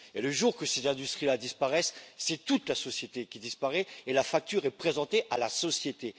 Or, le jour où ces industries disparaissent, c'est toute la société qui disparaît et la facture est présentée à la société.